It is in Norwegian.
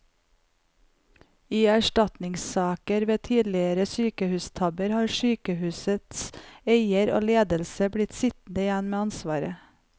I erstatningssaker ved tidligere sykehustabber har sykehusets eier og ledelse blitt sittende igjen med ansvaret.